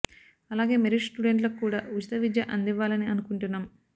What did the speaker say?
అలాగే మెరిట్ స్టూడెంట్లకు కూడా ఉచిత విద్య అంది వ్వాలని అనుకుంటున్నాం